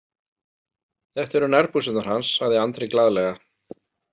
Þetta eru nærbuxurnar hans, sagði Andri glaðlega.